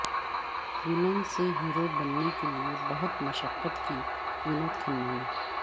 villain سے hero بننے کے لئے بہت مشقت کی ونود کھنہ نے